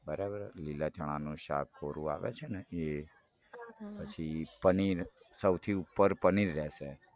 બરાબર હ લીલા ચણાનું શાક કોરું આવે છે ને એ પછી પનીર સૌથી ઉપર પનીર રેસે